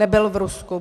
Nebyl v Rusku.